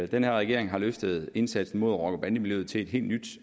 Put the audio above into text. den her regering har løftet indsatsen mod rocker bande miljøet til et helt nyt